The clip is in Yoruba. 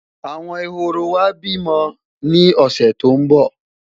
àwọn ehoro wa bi mó ni ọsẹ tó n bo